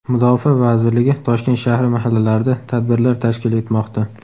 Mudofaa vazirligi Toshkent shahri mahallalarida tadbirlar tashkil etmoqda.